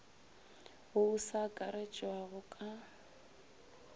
wo o sa akaretšwago ka